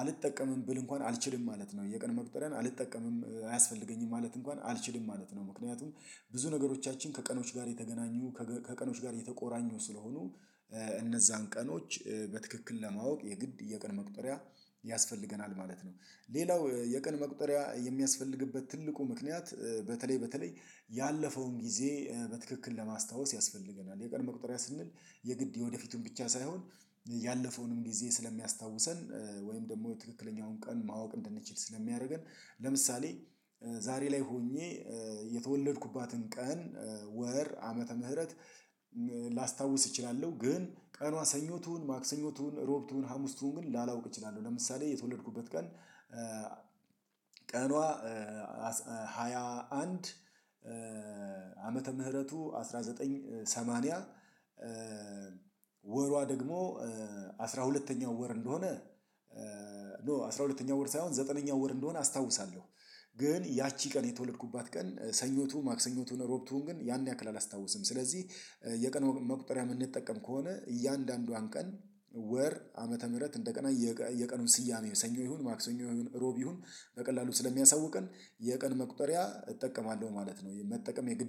አልጠቀምም ብል እንኳን አልችልም ማለት ነው። የቀን መቁጠሪያን አልጠቀምም አያስፈልገኝም ማለት እንኳን አልችልም ማለት ነው። ምክንያቱም ብዙ ነገሮቻችን ከቀኖች ጋር የተገናኙ ከገ ከቀኖች ጋር የተቆራኙ ስለሆኑ እነዛን ቀኖች በትክክል ለማወቅ የግድ የቀን መቁጠሪያ ያስፈልገናል ማለት ነው። ሌላው የቀን መቁጠሪያ የሚያስፈልግበት ትልቁ ምክንያት በተለይ በተለይ ያለፈውን ጊዜ በትክክል ለማስታወስ ያስፈልገናል። የቀን መቁጠሪያ ስንል የግድ የወደፊቱን ብቻ ሳይሆን ያለፈውንም ጊዜ ስለሚያስታውሰን ወይም ደግሞ ትክክለኛውን ቀን ማወቅ እንድንችል ስለሚያደርገን ለምሳሌ ዛሬ ላይ ሆኜ የተወለድኩባትን ቀን፣ ወር፣ ዓመተ ምህረት ላስታውስ እችላለሁ ግን ቀኗ ሰኞ ትሁን፣ ማክሰኞ ትሁን፣ ሮብ ትሁን፣ ሀሙስ ትሁን ግን ላላውቅ እችላለሁ። ለምሳሌ የተወለድኩበት ቀን ቀኗ ሃያ አንድ ዓመተ ምህረቱ አስራ ዘጠኝ ሰማንያ ወሯ ደግሞ አስራ ሁለተኛው ወር እንደሆነ፤ ኖ አስራ ሁለተኛው ወር ሳይሆን ዘጠነኛው ወር እንደሆነ አስታውሳለሁ። ግን ያቺ ቀን የተወለድኩባት ቀን ሰኞ ትሁን፣ ማክሰኞ ትሁን፣ ሮብ ትሁን ግን ያን ያክል አላስታወስም። ስለዚህ የቀን መቁጠሪያ የምንጠቀም ከሆነ እያንዳንዷን ቀን፣ ወር፣ ዓመተ ምህረት እንደገና የየቀኑን ስያሜ ሰኞ ይሁን፣ ማክሰኞ ይሁን፣ ሮብ ይሁን በቀላሉ ስለሚያሳውቀን የቀን መቁጠሪያ እጠቀማለሁ ማለት ነው። የመጠቀም የግድ